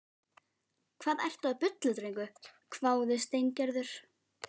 Hvað ertu að bulla drengur? hváði Steingerður.